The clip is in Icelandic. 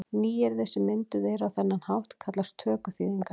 Nýyrði sem mynduð eru á þennan hátt kallast tökuþýðingar.